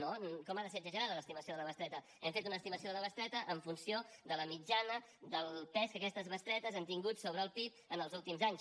no com ha de ser exagerada l’estimació de la bestreta hem fet una estimació de la bestreta en funció de la mitjana del pes que aquestes bestretes han tingut sobre el pib en els últims anys